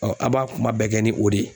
an b'a kuma bɛɛ kɛ ni o de ye